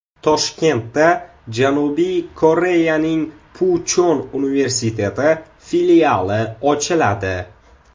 Toshkentda Janubiy Koreyaning Puchon universiteti filiali ochiladi.